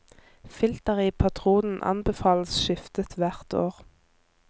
Filteret i patronen anbefales skiftet hvert år.